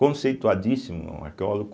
Conceituadíssimo, um arqueólogo.